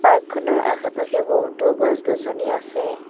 পাৰ্কখনৰ আশে পাশে বহুতো গছ গছনি আছে।